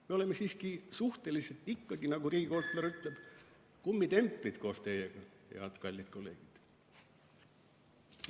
Me oleme siiski, nagu riigikontrolör ütleb, kummitemplid, meie koos teiega, kallid kolleegid.